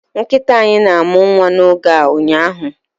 Nkịta anyị na-amụ nwa n'oge a ụnyaahụ